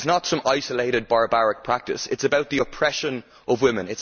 It is not some isolated barbaric practice, it is about the oppression of women.